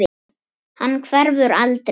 Hann hverfur aldrei.